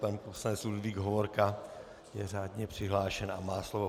Pan poslanec Ludvík Hovorka je řádně přihlášen a má slovo.